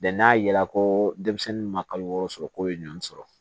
n'a ye la ko denmisɛnnin ma kalo wɔɔrɔ sɔrɔ k'o ye ɲɔn sɔrɔ